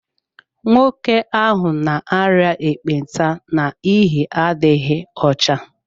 Nwoke ahụ n'aria ekpenta n'ihi adịghị ọcha